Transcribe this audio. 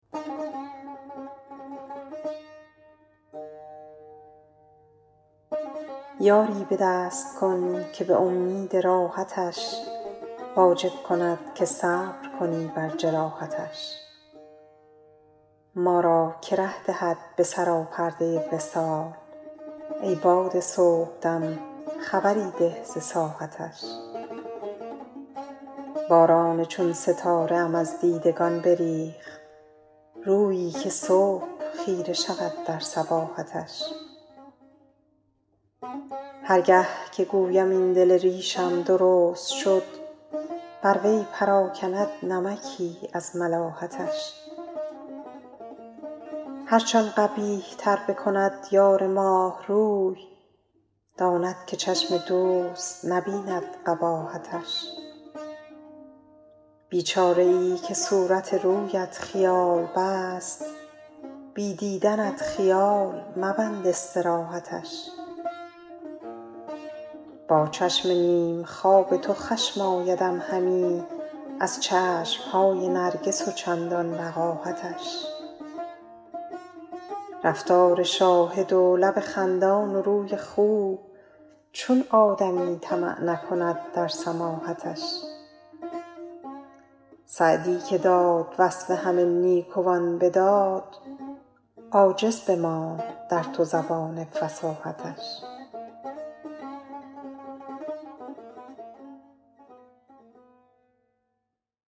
یاری به دست کن که به امید راحتش واجب کند که صبر کنی بر جراحتش ما را که ره دهد به سراپرده وصال ای باد صبح دم خبری ده ز ساحتش باران چون ستاره ام از دیدگان بریخت رویی که صبح خیره شود در صباحتش هر گه که گویم این دل ریشم درست شد بر وی پراکند نمکی از ملاحتش هرچ آن قبیح تر بکند یار دوست روی داند که چشم دوست نبیند قباحتش بیچاره ای که صورت رویت خیال بست بی دیدنت خیال مبند استراحتش با چشم نیم خواب تو خشم آیدم همی از چشم های نرگس و چندان وقاحتش رفتار شاهد و لب خندان و روی خوب چون آدمی طمع نکند در سماحتش سعدی که داد وصف همه نیکوان به داد عاجز بماند در تو زبان فصاحتش